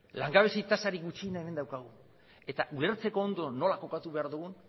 langabezia tasarik gutxiena hemen daukagu eta ulertzeko ondo nola kokatu behar dugun